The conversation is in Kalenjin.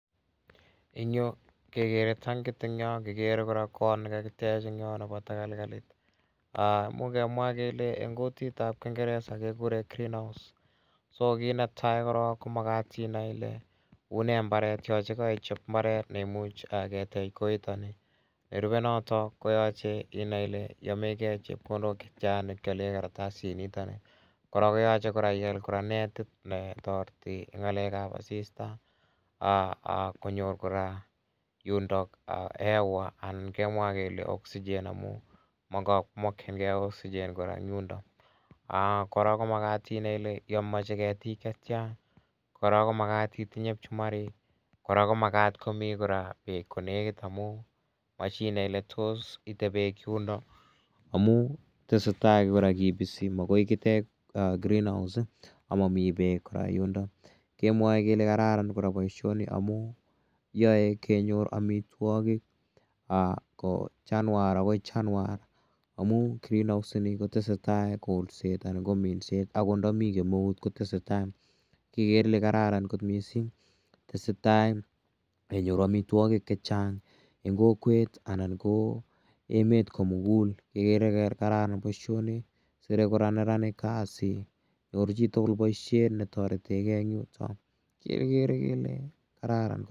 Eng' yo kekere tankit en yo, kikere kora kot ne kakitech en yo nepo takalkalit. Imuch kemwa eng' kutit ap kingeresa kekure green house. Kiit ne tai korok ko makat inai ile une mbaret ye kaichop mbaret ne imuch ketech koitani. Nerupe notok koyache inae ile yame gei chepkondok che tia ne kiale kartasinitani. Kora koyache kora ial kora netit ne tareti eng' ng'alek ap asista, konyor kora yundok hewa anan kemwa kele oxygen amu kamakchingei oxygen kora eng' yundok. Kora ko makat inai ile mache ketik che tia en yun. Kora ko makat itinye pchumarik. Kora ko makat komi peek kora konekit amu mashinae ile tos ite peek yundok amu tese tai kora kipisi, makoi kitech greenhouse ama mi peek yundok. Kemwae kele kararan kora poishoni amu yae kenyor amitwogik kou chanwar akoi chanwar amu greenhouse ini kotese kolset anan ko minset akot ndami kemeut kotese tai. Kekere kele kararan missing', tese tai kenyoru amitwogik che chang' eng' kokwet anan ko emet ko mugul. Kekere kele kararan poishoni sire kora neranik kasi, nyoru chi tugul poishet ne taretehei eng' yutok, kekere kele kararan kot missing'.